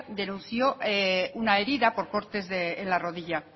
denunció una herida por cortes en la rodilla